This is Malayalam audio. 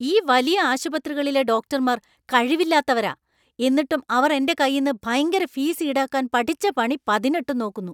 ഈ വലിയ ആശുപത്രികളിലെ ഡോക്ടർമാർ കഴിവില്ലാത്തവരാ. എന്നിട്ടും അവർ എന്‍റെ കയ്യിന്നു ഭയങ്കര ഫീസ് ഈടാക്കാൻ പഠിച്ച പണി പതിനെട്ടും നോക്കുന്നു.